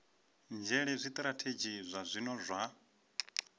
nzhele zwitirathedzhi zwa zwino zwa